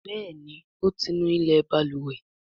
Béèni o tí ńú ilé balùwẹ̀.